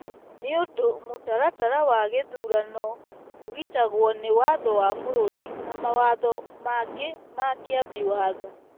Nĩ ũndũ, mũtaratara wa gĩthurano ũgitagwo nĩ Watho wa bũrũri na mawatho mangĩ ma Kĩambi Watho.